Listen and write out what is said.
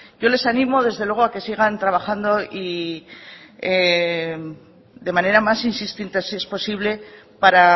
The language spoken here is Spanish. yo les animo desde luego a que sigan trabajando y de manera más insistente si es posible para